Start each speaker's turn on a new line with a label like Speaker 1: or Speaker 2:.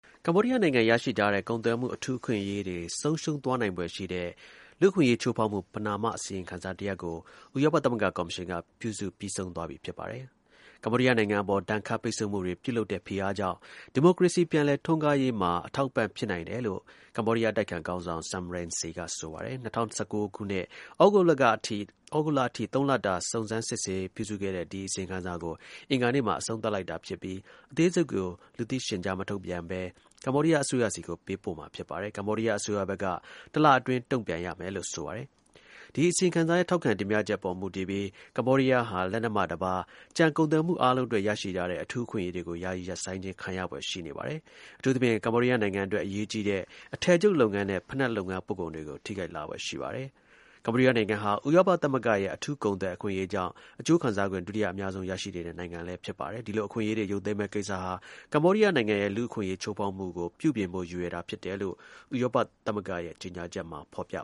Speaker 1: ကမ္ဘောဒီးယားနိုင်ငံ ရရှိထားတဲ့ ကုန်သွယ်မှု အထူးအခွင့်အရေးတွေ ဆုံးရှုံးသွားနိုင်ဖွယ် ရှိတဲ့ လူ့အခွင့်အရေးချိုးဖေါက်မှု ပဏာမအစီရင်ခံစာ တရပ်ကို ဥရောပသမဂ္ဂ ကော်မရှင်က ပြုစုပြီးဆုံးသွားပြီ ဖြစ်ပါတယ်။ ကမ္ဘောဒီးယားနိုင်ငံ အပေါ် ဒဏ်ခတ်ပိတ်ဆို့မှုတွေ ပြုလုပ်တဲ့ ဖိအားကြောင့် ဒီမိုကရေစီ ပြန်လည်ထွန်းကားရေးမှာ အထောက်အပံ့ ဖြစ်နိုင် တယ်လို့ ကမ္ဘောဒီးယားအတိုက်အခံ ခေါင်းဆောင် Sam Rainsy ကဆိုပါတယ်။ ၂၀၁၉ သြဂုတ်လကအထိ ၃ လတာ စုံစမ်းစစ်ဆေး ပြုစုခဲ့တဲ့ ဒီအစီရင်ခံစာကို အင်္ဂါနေ့မှာ အဆုံးသတ်လိုက်တာ ဖြစ်ပြီး အသေးစိတ်ကို လူသိရှင်ကြား မထုတ်ပြန်ဘဲ ကမ္ဘောဒီးယား အစိုးရဆီကို ပေးပို့မှာဖြစ်ပါတယ်။ ကမ္ဘောဒီးယားအစိုးရဘက်က တလအတွင်း တုန့်ပြန်ရမယ်လို့ဆိုပါတယ်။ ဒီအစီရင်ခံစာရဲ့ထောက်ခံ တင်ပြချက် အပေါ်မူတည်ပြီး ကမ္ဘောဒီးယားဟာ လက်နက်မှတပါး ကျန်ကုန်သွယ်မှု အားလုံးအတွက် ရရှိထားတဲ့ အထူးအခွင့်အရေးတွေကို ယာယီရပ်ဆိုင်းခြင်း ခံရဖွယ်ရှိပါတယ်။ အထူးသဖြင့် ကမ္ဘောဒီးယားနိုင်ငံအတွက် အရေးကြီးတဲ့ အထည်ချုပ်လုပ်ငန်းနဲ့ ဖိနပ်လုပ်ငန်း ပို့ကုန်တွေကို ထိခိုက်လာဖွယ်ရှိပါတယ်။ ကမ္ဘောဒီးယားနိုင်ငံဟာ ဥရောပသမဂ္ဂရဲ့ အထူးကုန်သွယ် အခွင့်အရေးကြောင့် အကျိုးခံစားခွင့် ဒုတိယအများဆုံး ရရှိနေတဲ့ နိုင်ငံဖြစ်ပါတယ်။ ဒီလိုအခွင့်အရေးတွေ ရုပ်သိမ်းမယ့်ကိစ္စဟာ ကမ္ဘောဒီးယားနိုင်ငံရဲ့ လူ့အခွင့်အရေး ချိုးဖေါက်မှုကို ပြုပြင်ဖို့ရည်ရွယ်တာဖြစ်တယ်လို့ ဥရောပ သမဂ္ဂရဲ့ ကြေညာချက်မှာ ဖေါ်ပြ